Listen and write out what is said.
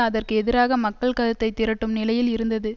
அதற்கு எதிராக மக்கள் கருத்தை திரட்டும் நிலையில் இருந்தது